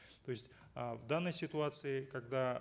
то есть э в данной ситуации когда